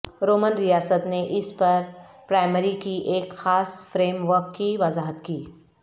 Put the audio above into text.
Roman ریاست نے اس پر پرائمری کی ایک خاص فریم ورک کی وضاحت کی